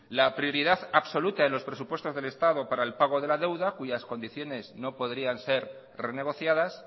la prioridad absoluta en los presupuestos del estado para el pago de la deuda cuyas condiciones no podrían ser renegociadas